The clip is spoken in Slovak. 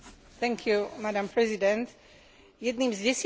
Jedným z desiatich prikázaní je nepokradneš.